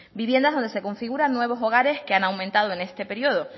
viviendas donde se configuran nuevos hogares que han aumentado en este periodo